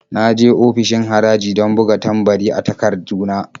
Na je ofishin haraji don buga tambari a takardu na.